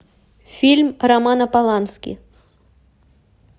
фильм романа полански